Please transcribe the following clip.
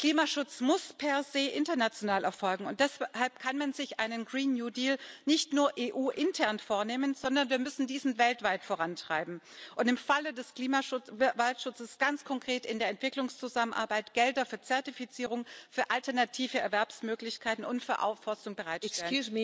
Klimaschutz muss per se international erfolgen, und deshalb kann man sich einen Green New Deal nicht nur EU-intern vornehmen, sondern wir müssen diesen weltweit vorantreiben und im Falle des Waldschutzes ganz konkret in der Entwicklungszusammenarbeit Gelder für Zertifizierung, für alternative Erwerbsmöglichkeiten und für Aufforstung bereitstellen.